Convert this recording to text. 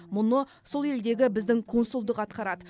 мұны сол елдегі біздің консулдық атқарады